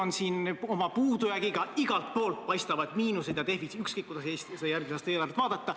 Eestil on puudujääk, igalt poolt paistavad miinused ja defitsiit, ükskõik kuidas seda järgmise aasta eelarvet vaadata.